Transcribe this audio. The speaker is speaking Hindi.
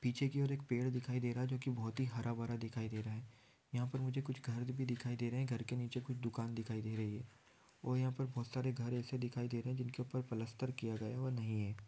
पीछे की ओर एक पेड़ दिखाई दे रहा जो की बहुत ही हरा भरा दिखाई दे रहा है। यहां पर मुझे कुछ घर भी दिखाई दे रहे हैं। घर के नीचे कुछ दुकान दिखाई दे रही है। और यहां पर बहुत सारे घर एसे दिखाई दे रहे हैं जिनके ऊपर प्लास्टर किया गया वह नहीं है।